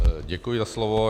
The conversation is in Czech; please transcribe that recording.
Děkuji za slovo.